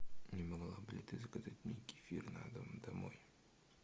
не могла бы ли ты заказать мне кефир на дом домой